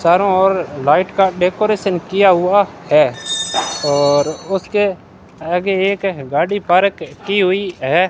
चारों ओर लाइट का डेकोरेशन किया हुआ है और उसके आगे एक गाड़ी पारक की हुई है।